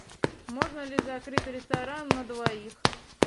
можно ли закрыть ресторан на двоих